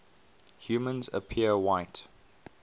humans appear white